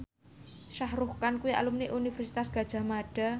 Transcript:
Shah Rukh Khan kuwi alumni Universitas Gadjah Mada